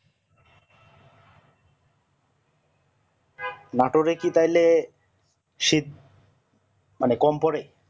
নাটোর একটু তাহলে শীত মানে কম পরে